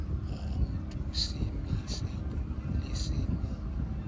ha o se o ngodisitswe